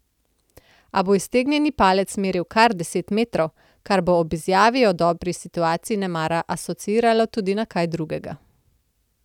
A bo iztegnjeni palec meril kar deset metrov, kar bo ob izjavi o dobri situaciji nemara asociiralo tudi na kaj drugega.